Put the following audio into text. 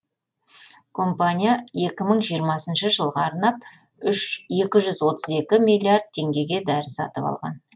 компания екі мың жиырмасыншы жылға арнап екі жүз отыз екі миллиард теңгеге дәрі сатып алған